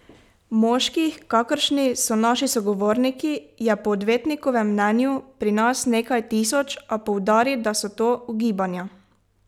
Moških, kakršni so naši sogovorniki, je po odvetnikovem mnenju pri nas nekaj tisoč, a poudari, da so to ugibanja.